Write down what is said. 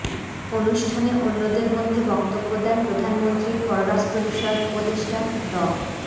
অনুষ্ঠানে অন্যদের মধ্যে বক্তব্য দেন প্রধানমন্ত্রীর পররাষ্ট্রবিষয়ক উপদেষ্টা ড